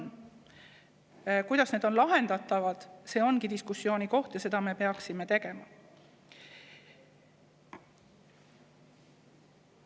Kuidas on need lahendatavad, see ongi diskussiooni koht, ja seda diskussiooni me peaksime.